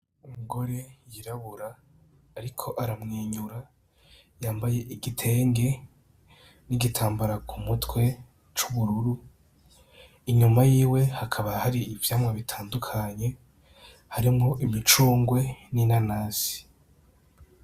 Umugore y'irabura ariko aramwenyura yambaye igitenge n'igitambara k'umutwe c'ubururu, inyuma yiwe hakaba hari ivyamwa bitandukanye harimwo imicungwe n'inanasi.